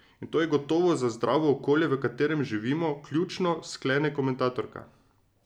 In to je gotovo za zdravo okolje, v katerem živimo, ključno, sklene komentatorka.